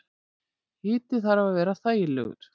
Hiti þarf að vera þægilegur.